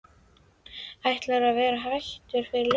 Ætlaði að vera hættur fyrir löngu.